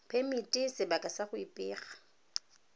phemiti sebaka sa go ipega